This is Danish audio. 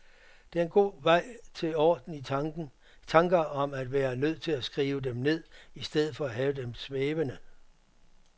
Det er en god vej til orden i tanker at være nødt til at skrive dem ned, i stedet for at have dem svævende.